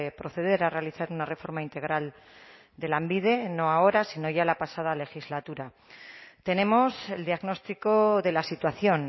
proceder a realizar una reforma integral de lanbide no ahora sino ya la pasada legislatura tenemos el diagnóstico de la situación